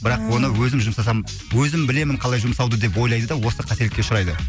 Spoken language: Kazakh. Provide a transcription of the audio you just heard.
бірақ оны өзім жұмсасам өзім білемін қалай жұмсауды деп ойлайды да осы қателікке ұшырайды